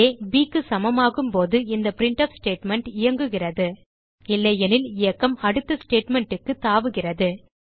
ஆ bக்கு சமமாகும் போது இந்த பிரின்ட்ஃப் ஸ்டேட்மெண்ட் இயங்குகிறது இல்லையெனில் இயக்கம் அடுத்த statementக்குத் தாவுகிறது